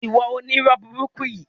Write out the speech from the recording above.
Ìwọ onírọ́ burúkú yìí!